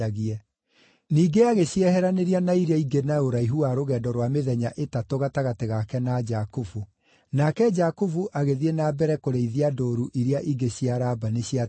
Ningĩ agĩcieheranĩria na iria ingĩ na ũraihu wa rũgendo rwa mĩthenya ĩtatũ gatagatĩ gake na Jakubu. Nake Jakubu agĩthiĩ na mbere kũrĩithia ndũũru iria ingĩ cia Labani ciatigarire.